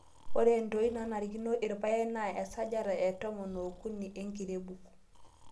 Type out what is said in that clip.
Ore entoii nanarikino irpaek naa esajata etomon ookuni enkirebuk.